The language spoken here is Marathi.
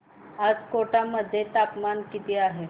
आज कोटा मध्ये तापमान किती आहे